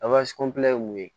ye mun ye